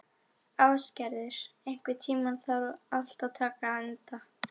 Ásgerður, einhvern tímann þarf allt að taka enda.